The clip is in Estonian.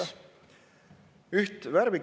Aitäh!